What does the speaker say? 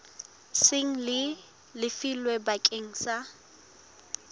seng le lefilwe bakeng sa